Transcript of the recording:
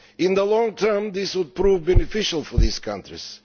In the long term, this would prove beneficial for these countries.